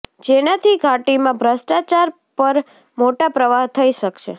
જેનાથી ઘાટીમાં ભ્રષ્ટાચાર પર મોટા પ્રહાર થઇ શકશે